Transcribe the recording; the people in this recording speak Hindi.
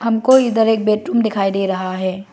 हमको इधर एक बेडरूम दिखाई दे रहा है।